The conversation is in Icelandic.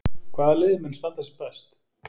Hvaða lið mun standa sig best?